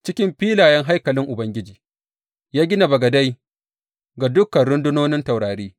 Cikin filayen haikalin Ubangiji, ya gina bagadai ga dukan rundunonin taurari.